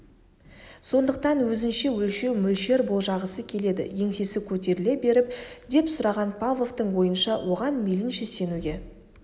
сондықтан өзінше өлшеу мөлшер болжағысы келеді еңсесі көтеріле беріп деп сұраған павловтың ойынша оған мейлінше сенуге